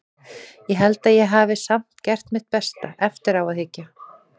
Ég held að ég hafi samt gert mitt besta, eftir á að hyggja.